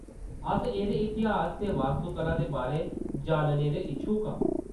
अस एह्‌‌‌दे इतिहास ते वास्तुकला दे बारै जानने दे इच्छुक आं।